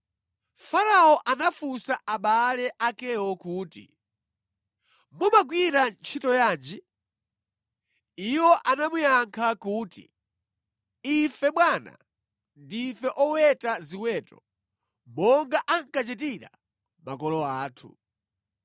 Farao anafunsa abale akewo kuti, “Mumagwira ntchito yanji?” Iwo anamuyankha kuti, “Ife, bwana ndife oweta ziweto, monga ankachitira makolo athu.